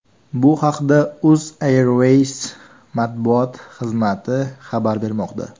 Bu haqda Uzairways matbuot xizmati xabar bermoqda .